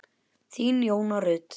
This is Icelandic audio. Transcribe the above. Þín, Jóna Rut.